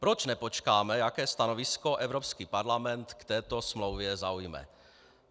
Proč nepočkáme, jaké stanovisko Evropský parlament k této smlouvě zaujme?